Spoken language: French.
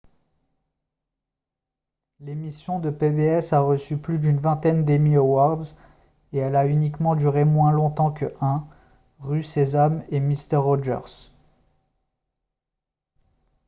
l'émission de pbs a reçu plus d'une vingtaine d'emmy awards et elle a uniquement duré moins longtemps que 1 rue sésame et mister rogers